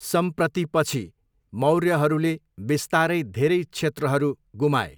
सम्प्रतिपछि, मौर्यहरूले बिस्तारै धेरै क्षेत्रहरू गुमाए।